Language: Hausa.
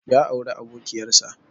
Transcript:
Ya auri abokiƴar sa.